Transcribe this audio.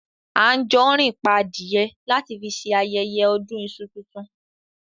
Anjorin pa adìyẹ lati fi ṣe ayẹyẹ ọdún iṣu tuntun.